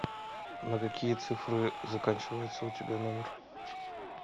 на какие цифры заканчивается у тебя номер